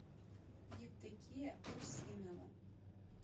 евдокия русинова